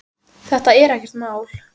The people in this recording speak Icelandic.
Þetta er ekkert mál.